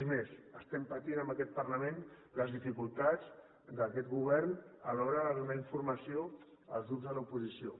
és més patim en aquest parlament les dificultats d’aquest govern a l’hora de donar informació als grups de l’oposició